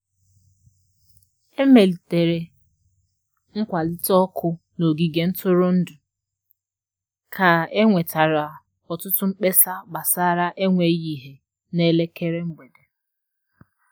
E melitere nkwalite ọkụ n'ogige ntụrụndụ ka e nwetara ọtụtụ mkpesa gbasara enweghị ìhè n'elekere mgbede.